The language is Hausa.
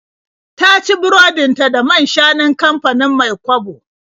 Ta ci burodin ta da man-shanun kamfanin Mai-kwabo.